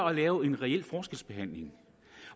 at lave en reel forskelsbehandling